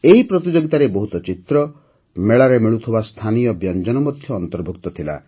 ଏହି ପ୍ରତିଯୋଗିତାରେ ବହୁତ ଚିତ୍ର ମେଳାରେ ମିଳୁଥିବା ସ୍ଥାନୀୟ ବ୍ୟଞ୍ଜନ ମଧ୍ୟ ଅନ୍ତର୍ଭୁକ୍ତ ଥିଲା